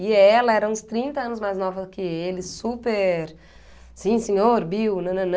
E ela era uns trinta anos mais nova que ele, super... Sim, senhor, Bill, nananã.